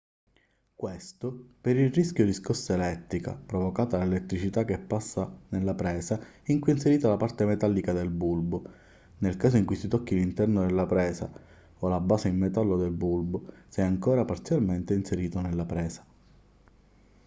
questo per il rischio di scossa elettrica provocata dall'elettricità che passa nella presa in cui è inserita la parte metallica del bulbo nel caso in cui si tocchi l'interno della presa o la base in metallo del bulbo se ancora parzialmente inserito nella presa